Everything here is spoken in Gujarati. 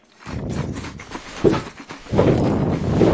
એ પણ ત્યાં જ છે બરોડા high school માં?